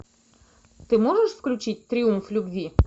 ты можешь включить триумф любви